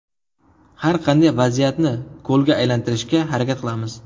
Har qanday vaziyatni golga aylantirishga harakat qilamiz.